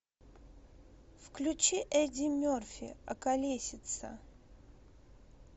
включи эдди мерфи околесица